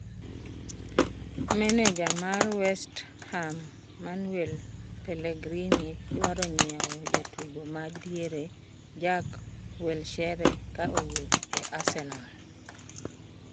Maneja mar West Ham Manuel Pellegrini dwaro nyiewo jatugo ma diere Jack Wilshere ka owuok e Arsenal.